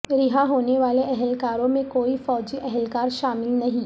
رہا ہونے والے اہلکاروں میں کوئی فوجی اہلکار شامل نہیں